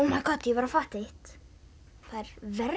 var að fatta eitt það